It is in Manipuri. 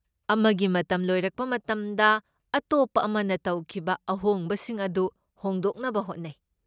ꯑꯃꯒꯤ ꯃꯇꯝ ꯂꯣꯏꯔꯛꯄ ꯃꯇꯝꯗ, ꯑꯇꯣꯞꯄ ꯑꯃꯅ ꯇꯧꯈꯤꯕ ꯑꯍꯣꯡꯕꯁꯤꯡ ꯑꯗꯨ ꯍꯣꯡꯗꯣꯛꯅꯕ ꯍꯣꯠꯅꯩ꯫